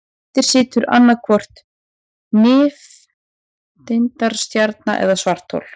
Eftir situr annaðhvort nifteindastjarna eða svarthol.